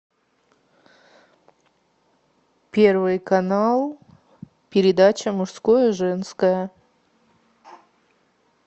первый канал передача мужское женское